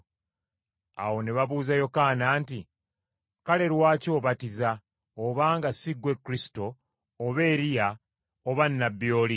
Awo ne babuuza Yokaana nti, “Kale lwaki obatiza, obanga si ggwe Kristo oba Eriya oba nnabbi oli?”